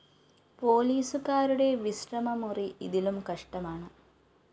പോലീസുകാരുടെ വിശ്രമമുറി ഇതിലും കഷ്ടമാണ്